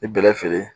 I bɛlɛ feere